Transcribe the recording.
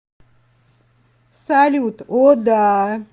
салют о да